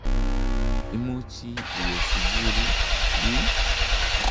Imuchi iwe sukul ii?